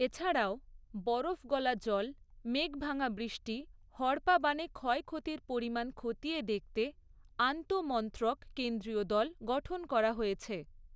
এছাড়াও, বরফ গলা জল মেঘভাঙা বৃষ্টি হড়পা বাণে ক্ষয়ক্ষতির পরিমাণ খতিয়ে দেখতে আন্তঃমন্ত্রক কেন্দ্রীয় দল গঠন করা হয়েছে।